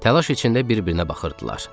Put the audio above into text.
Təlaş içində bir-birinə baxırdılar.